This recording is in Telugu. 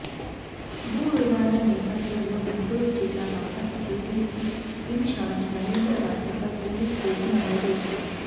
భూ వివాదం నేపథ్యంలో గుంటూరు జిల్లా Bapatla TDP in charge Narendra Varma పై పోలీసు కేసు నమోదయ్యింది